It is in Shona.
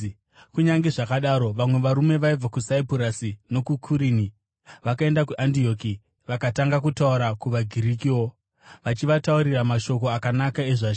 Kunyange zvakadaro, vamwe varume vaibva kuSaipurasi nokuKurini, vakaenda kuAndioki vakatanga kutaura kuvaGirikiwo, vachivataurira mashoko akanaka ezvaIshe.